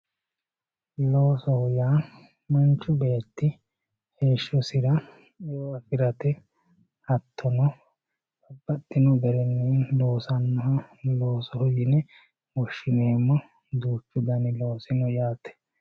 loosoho yaa manchu beetti heeshshosira eo afirate hattono babbaxino garinni loosannoha loosoho yine woshshineemmo duuchu dani loosi no yaate.